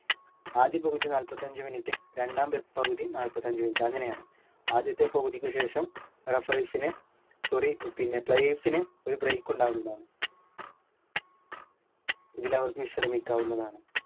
ആദ്യ പകുതി നാല്പത്തഞ്ച് minute രണ്ടാം വെ പകുതി നാല്പത്തഞ്ച് minute അങ്ങനെയാണ് ആദ്യത്തെ പകുതിക്കുശേഷം referees ന് sorry പിന്നെ players ന് ഒരു break ഉണ്ടാവുന്നതാണ് ഇതിൽ അവർക്ക് വിശ്രമിക്കാവുന്നതാണ്